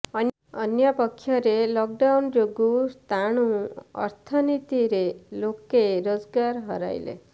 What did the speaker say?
ଅନ୍ୟପକ୍ଷରେ ଲକଡାଉନ ଯୋଗୁ ସ୍ଥାଣୁ ଅର୍ଥନୀତିରେ ଲୋକେ ରୋଜଗାର ହରାଇଲେ